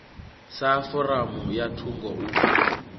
sa foramu ya thungo u